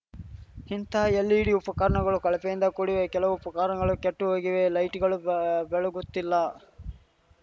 ಇಂತಹ ಎಲ್‌ಇಡಿ ಉಫಕರಣಗಳು ಕಳಫೆಯಿಂದ ಕೂಡಿವೆ ಕೆಲವು ಉಫಕರಣಗಳು ಕೆಟ್ಟುಹೋಗಿವೆ ಲೈಟ್‌ಗಳು ಗ ಬೆಳಗುತ್ತಿಲ್ಲ